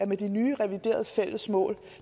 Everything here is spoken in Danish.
de nye reviderede fælles mål